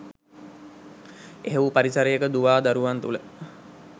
එහෙව් පරිසරයක දුවා දරුවන් තුළ